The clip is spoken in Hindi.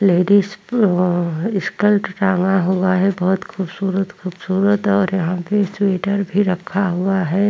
लेडीज अ स्कर्ट टांगा हुआ है बोहोत खूबसूरत - खूबसूरत और यहाँ पे स्वेटर भी रखा हुआ है।